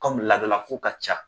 laadalako ka ca